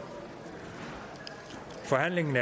forhandlingen